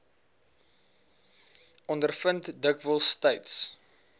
ondervind dikwels tyds